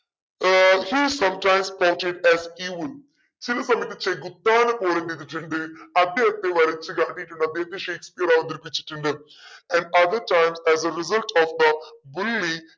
uh he sometimes ചിലപ്പോ എന്താ ചെകുത്താനെ പോലെ എന്തേയിതിട്ടുണ്ട് അദ്ദേഹത്തെ വരച്ചു കാട്ടീട്ടുണ്ട് അദ്ദേഹത്തെ ഷേക്‌സ്‌പിയർ അവതരിപ്പിച്ചിട്ടുണ്ട് of a bully